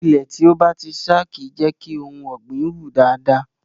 Ilẹ̀ tí ó bá ti ṣá kì í jẹ́ kí ohun ọ̀gbìn wù dáadáa.